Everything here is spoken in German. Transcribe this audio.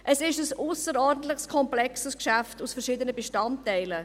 Es ist ein ausserordentlich komplexes Geschäft mit unterschiedlichen Bestandteilen.